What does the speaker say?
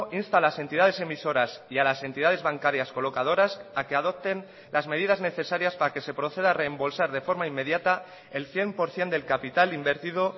insta a las entidades emisoras y a las entidades bancarias colocadoras a que adopten las medidas necesarias para que se proceda a rembolsar de forma inmediata el cien por ciento del capital invertido